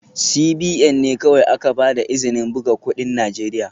CBN ne kawai aka ba da izinin buga kudin Najeriya